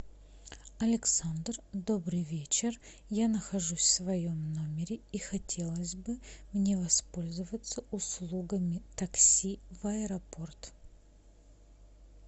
александр добрый вечер я нахожусь в своем номере и хотелось бы мне воспользоваться услугами такси в аэропорт